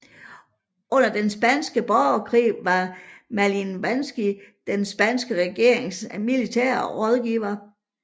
Under den spanske borgerkrig var Malinovskij den spanske regerings militære rådgiver